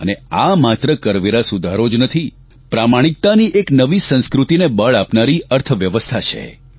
અને આ માત્ર કરવેરા સુધારો જ નથી પ્રામાણિકતાની એક નવી સંસ્કૃતિને બળ આપનારી અર્થવ્યવસ્થા છે